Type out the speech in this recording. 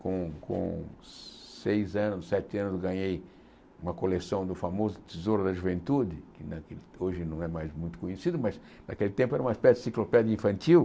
Com com seis anos, sete anos, ganhei uma coleção do famoso Tesouro da Juventude, né que hoje não é mais muito conhecido, mas naquele tempo era uma espécie de ensiclopédia infantil.